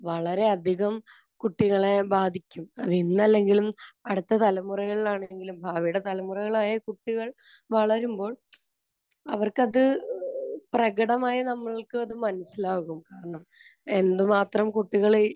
വളരെയധികം കുട്ടികളെ ബാധിക്കും. അത് ഇന്നല്ലെങ്കിലും അടുത്ത തലമുറകളിലാണെങ്കിലും ഭാവിയുടെ തലമുറകളായ കുട്ടികൾ വളരുമ്പോൾ അവർക്കത് പ്രകടമായി നമ്മൾക്കത് മനസ്സിലാകും. എന്തുമാത്രം കുട്ടികൾ